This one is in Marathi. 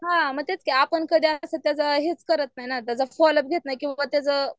हां म तेच की आपण कधी असं त्याचं हेच करत नाही.ना त्याचा फॉलोअप घेत नाही किंवा त्याचं